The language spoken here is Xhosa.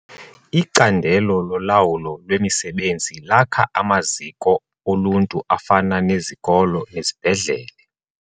Icandelo lolawulo lwemisebenzi lakha amaziko oluntu afana nezikolo nezibhedlele.